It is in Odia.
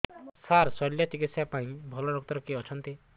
ସାର ଶଲ୍ୟଚିକିତ୍ସା ପାଇଁ ଭଲ ଡକ୍ଟର କିଏ ଅଛନ୍ତି